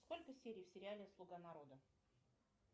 сколько серий в сериале слуга народа